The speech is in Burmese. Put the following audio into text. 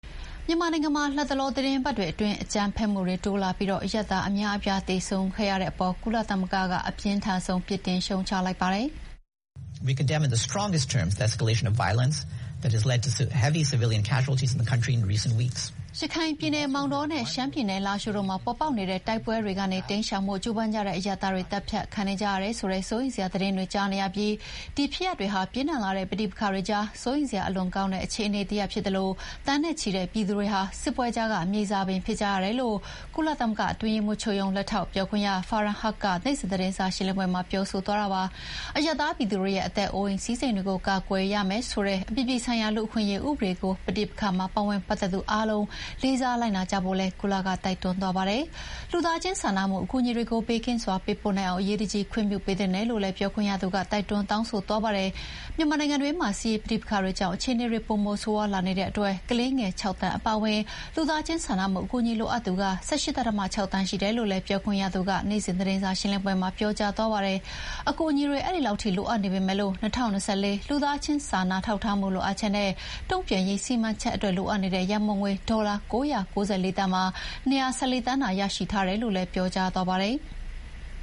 မြန်မာနိုင်ငံမှာ လတ်တလောသီတင်းပတ်တွေအတွင်း အကြမ်းဖက်မှုတွေတိုးလာပြီး အရပ်သားအများအပြား သေဆုံးခဲ့ရတဲ့အေပေါ် ကုလသမဂ္ဂက အပြင်းထန်ဆုံး ရှုတ်ချလိုက်ပါတယ်။ ရခိုင်ပြည်နယ်မောင်တောနဲ့ ရှမ်းပြည်နယ်လားရှိုးတို့မှာ ပေါ်ပေါက်နေတဲ့တိုက်ပွဲတွေကနေတိမ်းရှောင်ဖို့ ကြိုးပမ်းကြတဲ့အရပ်သားတွေ သတ်ဖြတ်ခံနေကြရတယ်ဆိုတဲ့ စိုးရိမ်စရာသတင်းတွေကြားနေရပြီး ဒီဖြစ်ရပ်တွေဟာ ပြင်းထန်လာတဲ့ပဋိပက္ခတွေကြား စိုးရိမ်စရာအလွန်ကောင်းတဲ့အခြေအနေတရပ်ဖြစ်သလို သန်းနဲ့ချီတဲ့ပြည်သူတွေက စစ်ပွဲကြားကမြေဇာပင်ဖြစ်ကြရတယ်လို့ ကုလသမဂ္ဂအတွင်းရေးမှူးချုပ်ရုံး၊ လက်ထောက်ပြောခွင့်ရသူ Farhan Haq က နေ့စဥ်သတင်းစာရှင်းလင်းပွဲမှာ ပြောသွားတာပါ။ အရပ်သားပြည်သူတွေရဲ့ အသက်အိုးအိမ်စည်းစိမ်တွေကို ကာကွယ်ရမယ်ဆိုတဲ့ အပြည်ပြည်ဆိုင်ရာ လူ့အခွင့်အရေးဥပဒေကို ပဋိပက္ခမှာပါဝင်ပတ်သက်သူ အားလုံးလေးစားလိုက်နာကြဖို့လည်း ကုလက တိုက်တွန်းသွားပါတယ်။ လူသားချင်းစာနာမှုအကူအညီတွေကို ဘေးကင်းစွာပေးပို့နိုင်အောင် အရေးတကြီး ခွင့်ပြုပေးသင့်တယ်လို့လည်း ပြောခွင့်ရသူက တိုက်တွန်းတောင်းဆိုသွားတာပါ။ မြန်မာနိုင်ငံတွင်းမှာ စစ်ရေးပဋိပက္ခတွေကြောင့် အခြေအနေတွေပိုမိုဆိုးရွားလာနေတဲ့အတွက် ကလေးငယ် ၆ သန်းအပါအဝင် လူသားချင်းစာနာမှုအကူအညီလိုအပ်သူ ၁၈.၆ သန်းရှိနေတယ်လို့လည်း ပြောခွင့်ရသူ Farhan Haq ကနေ့စဥ်သတင်းစာရှင်းလင်းပွဲမှာ ပြောကြားသွားပါတယ်။ အကူအညီတွေ အဲဒီလောက်ထိ လိုအပ်နေ ပေမယ့် ၂၀၂၄ လူသားချင်းစာနာထောက်ထားမှုလိုအပ်ချက်နဲ့ တုံ့ပြန်ရေးစီမံချက်အတွက် လိုအပ်နေတဲ့ရံပုံငွေ ဒေါ်လာ ၉၉၄ သန်းမှာ ၂၁၄ သန်းသာရရှိထားတယ်လို့လည်း ပြောကြားသွားပါတယ်။